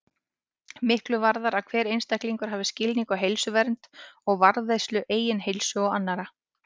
Miklu varðar að hver einstaklingur hafi skilning á heilsuvernd og varðveislu eigin heilsu og annarra.